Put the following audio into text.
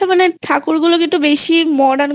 হ্যাঁ মানে ঠাকুর গুলো কে বেশি Modern